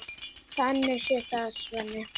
Þannig séð, sagði Sveinn.